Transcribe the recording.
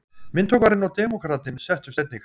Myndhöggvarinn og demókratinn settust einnig.